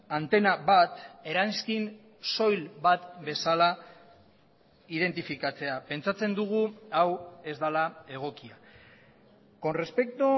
antena bat eranskin soil bat bezala identifikatzea pentsatzen dugu hau ez dela egokia con respecto